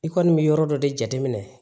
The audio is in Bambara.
I kɔni bɛ yɔrɔ dɔ de jateminɛ